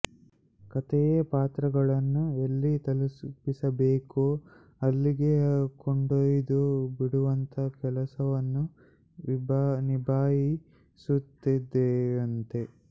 ಕಥೆಯೇ ಪಾತ್ರಗಳನ್ನು ಎಲ್ಲಿ ತಲುಪಿಸಬೇಕೋ ಅಲ್ಲಿಗೆ ಕೊಂಡೊಯ್ದು ಬಿಡುವಂಥಾ ಕೆಲಸವನ್ನೂ ನಿಭಾಯಿಸುತ್ತದೆಯಂತೆ